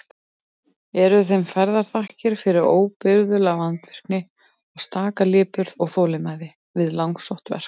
Eru þeim færðar þakkir fyrir óbrigðula vandvirkni og staka lipurð og þolinmæði við langsótt verk.